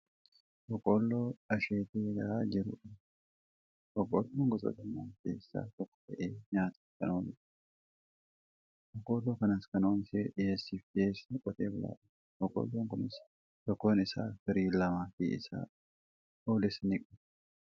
Boqqoolloo asheetee gahaa jiru argaa jirra. Boqqoolloon gosoota midhaanii keessaa tokko ta'ee nyaataaf kan ooludha. Boqoolloo kanas kan oomishee dhiyeessiif dhiyeessu qote bulaadha. Boqqoolloon kunis tokkoon isaa firii lamaafi isaa olis ni qaba.